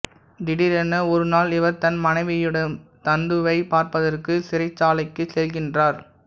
திடீரென ஒரு நாள் இவர் தன் மனைவியுடம் நந்துவைப் பார்ப்பதற்கு சிறைச்சாலைக்குச் செல்கின்றார்